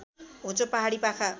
होचो पहाडी पाखा